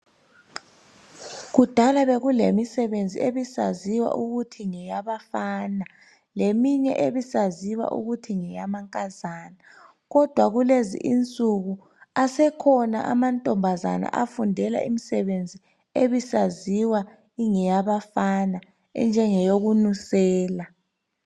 Kudala bekulemisebenzi ebisaziwa ukuthi ngeyabafana leminye ebisaziwa ukuthi ngeyamankazana. Kodwa kulezi insuku asekhona amantombazana afundela imisebenzi ebisaziwa ingeyabafana enjengeyoku nusela.